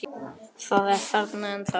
Það er þarna ennþá, já.